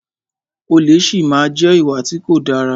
Olè si máa má jẹ́ ìwà tí kò dára.